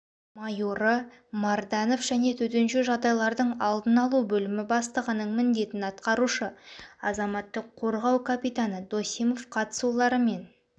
майоры марданов және төтенше жағдайлардың алдын-алу бөлімі бастығының міндетін атқарушы азаматтық қорғау капитаны досимов қатысуларымен